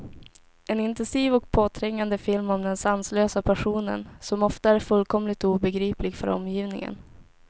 En intensiv och påträngande film om den sanslösa passionen, som ofta är fullkomligt obegriplig för omgivningen.